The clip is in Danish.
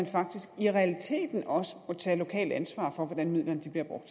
faktisk i realiteten også må tage lokalt ansvar for hvordan midlerne